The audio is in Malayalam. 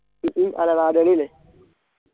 ചുറ്റും